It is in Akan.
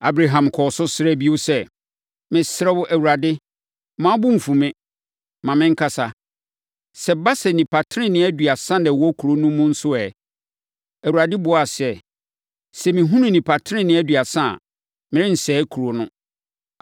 Abraham kɔɔ so srɛɛ bio sɛ, “Mesrɛ wo, Awurade, mma wo bo mfu me, ma menkasa. Sɛ ɛba sɛ nnipa tenenee aduasa na wɔwɔ kuro no mu nso ɛ?” Awurade buaa sɛ, “Sɛ mehunu nnipa tenenee aduasa a, merensɛe kuro no.”